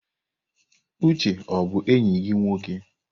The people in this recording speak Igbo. Uche ọ bụ enyi gị nwoke?